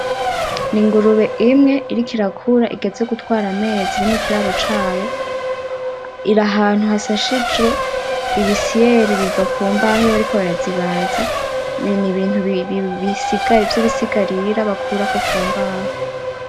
Ni ingurube imwe iriko irakura igeze gutwara amezi iri mukiraro cayo, iri ahantu hasashijwe ibisiyeri biva kumbaho iyo bariko barazibaza n'ibintu vyibisigarira bakurako ku mbaho.